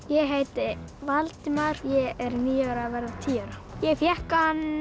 ég heiti Valdimar ég er níu ára að verða tíu ára ég fékk hann